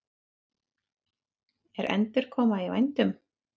Er endurkoma í vændum?